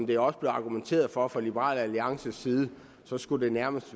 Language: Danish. der også blev argumenteret for fra liberal alliances side skulle det nærmest